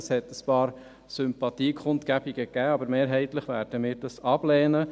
Es hat ein paar Sympathiebekundungen gegeben, aber mehrheitlich werden wir ihn ablehnen.